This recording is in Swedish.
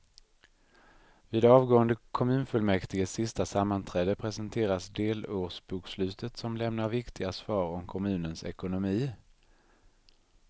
Vid avgående kommunfullmäktiges sista sammanträde presenteras delårsbokslutet som lämnar viktiga svar om kommunens ekonomi.